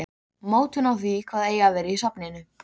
Ákveður að bregða reipinu um bita í loftinu.